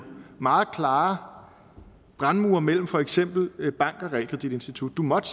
meget klare brandmure mellem for eksempel banker og realkreditinstitutter du måtte